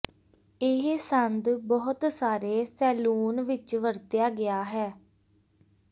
ਇਹ ਸੰਦ ਬਹੁਤ ਸਾਰੇ ਸੈਲੂਨ ਵਿੱਚ ਵਰਤਿਆ ਗਿਆ ਹੈ